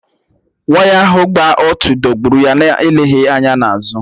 Waya ahụ gbà otú dọ̀gburụ́ ya na-eleghị anya na azụ.